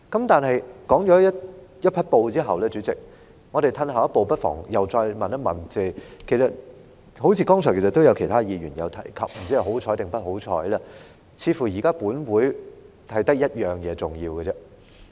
代理主席，長篇大論一番後，我們不妨再退後一步問，就是......剛才也有其他議員提到，不知是幸運還是不幸，似乎現在本會只有一項重要事項要處理。